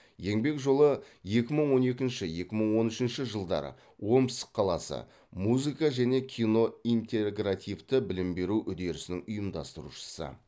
еңбек жолы екі мың он екінші екі мың он үшінші жылдары омск қаласы музыка және кино интегративті білім беру үдерісінің ұйымдастырушысы